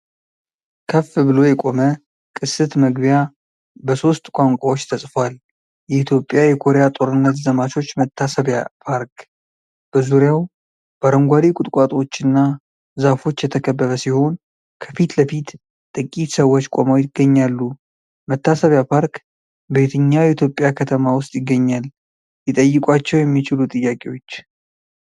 ከፍ ብሎ የቆመ ቅስት መግቢያ በሶስት ቋንቋዎች ተጽፏል።"የኢትዮጵያ የኮሪያ ጦርነት ዘማቾች መታሰቢያ ፓርክ"። በዙሪያው በአረንጓዴ ቁጥቋጦዎችና ዛፎች የተከበበ ሲሆን፣ ከፊት ለፊት ጥቂት ሰዎች ቆመው ይገኛሉ። መታሰቢያ ፓርክ በየትኛው የኢትዮጵያ ከተማ ውስጥ ይገኛል? ሊጠይቋቸው የሚችሉ ጥያቄዎች